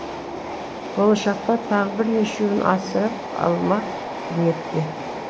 болашақта тағы бірнешеуін асырап алмақ ниетте